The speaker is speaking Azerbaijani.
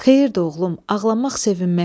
Xeyir de oğlum, ağlamaq sevinməkdir.